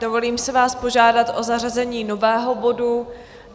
Dovolím si vás požádat o zařazení nového bodu.